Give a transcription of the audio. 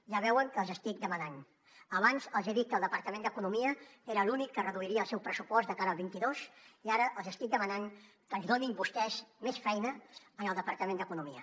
ja veuen què els estic demanant abans els he dit que el departament d’economia era l’únic que reduiria el seu pressupost de cara al vint dos i ara els estic demanant que ens donin vostès més feina al departament d’economia